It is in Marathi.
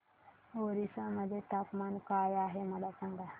ओरिसा मध्ये तापमान काय आहे मला सांगा